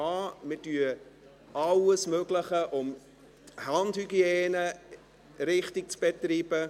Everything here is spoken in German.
Wir tun alles Mögliche, um die Handhygiene richtig zu betreiben.